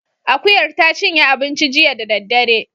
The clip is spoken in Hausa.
Akuyar ta cinye abinci jiya da daddare